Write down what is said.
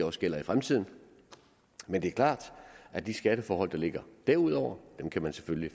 også gælder i fremtiden men det er klart at de skatteforhold der ligger derudover kan man selvfølgelig